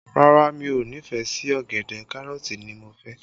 Rárá, mi ò nífẹ̀ẹ́ sí ọ̀gẹ̀dẹ̀, Kárọ̀tì ni mo fẹ́